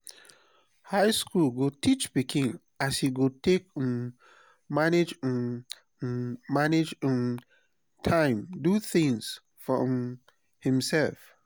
high school go teach pikin as e go take um manage um um manage um time do things for um himself.